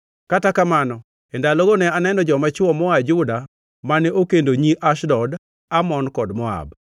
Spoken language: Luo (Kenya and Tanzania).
Kata kamano, e ndalogo ne aneno joma chwo moa Juda mane okendo nyi Ashdod, Amon kod Moab.